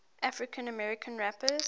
african american rappers